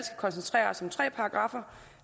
koncentrere os om tre paragraffer